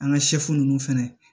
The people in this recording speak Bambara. An ka nunnu fɛnɛ